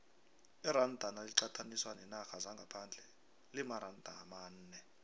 iranda naliqathaniswa neenarha zangaphandle limaranda amane